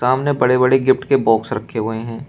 सामने बड़े बड़े गिफ्ट के बॉक्स रखे हुए हैं।